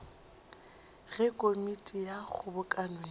ge komiti ya kgobokano ya